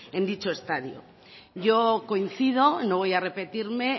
en dicho estadio yo coincido no voy a repetirme